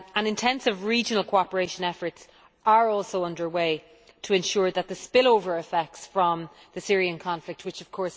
Intensive regional cooperation efforts are also underway to ensure that the spill over effects from the Syrian conflict is contained.